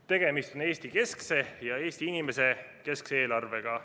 Tegemist on Eesti-keskse ja Eesti inimese keskse eelarvega.